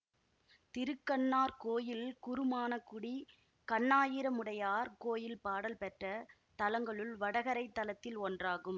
திருக்கண்ணார் கோயில் குறுமாணக்குடி கண்ணாயிரமுடையார் கோயில் பாடல் பெற்ற தலங்களுள் வடகரைத் தலத்தில் ஒன்றாகும்